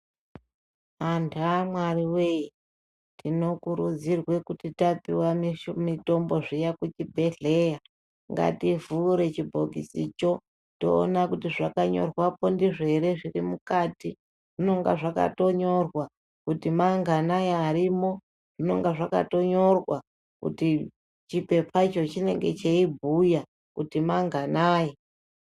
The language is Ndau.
Vantu vaMwariwe, tinokurudzirwe kuti tapiwa mitombo zviya kuchibhedhleya, ngativhure chibhokisi choo, toona kuti zvakanyorwapo ndizvo here zviri mukati. Zvinonga zvakatonyorwa kuti manganayi arimo, chipepa ichocho chinenge chichibhuya kuti manganayi.